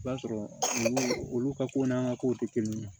I b'a sɔrɔ olu olu ka ko n'an ka kow tɛ kelen ye